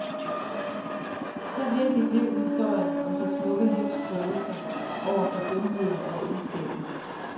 Så virkelig blev historien om det smukke livs prøvelser over for dumheden og ondskaben.